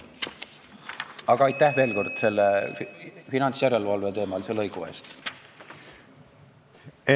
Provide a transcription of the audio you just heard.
Aga aitäh veel kord selle finantsjärelevalve-teemalise lõigu eest!